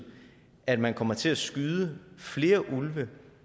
at man kommer til at skyde flere ulve